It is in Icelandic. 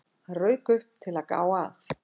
Hann rauk upp, til að gá að